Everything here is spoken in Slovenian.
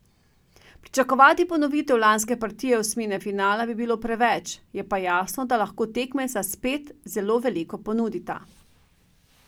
Pričakovati ponovitev lanske partije osmine finala bi bilo preveč, je pa jasno, da lahko tekmeca spet zelo veliko ponudita.